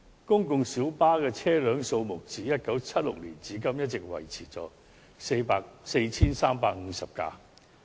公共小巴的車輛數目自1976年至今一直維持在 4,350 輛。